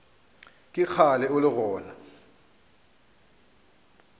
ke kgale o le gona